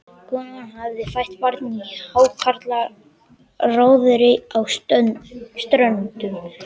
Kona hafði fætt barn í hákarlaróðri á Ströndum.